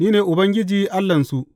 Ni ne Ubangiji Allahnsu.